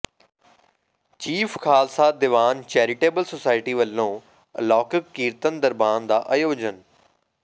chief Khalsa Diwan charitable society ਵਲੋਂ ਅਲੌਕਿਕ ਕੀਰਤਨ ਦਰਬਾਰ ਦਾ ਆਯੋਜਨ